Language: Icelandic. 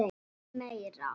VILTU MEIRA?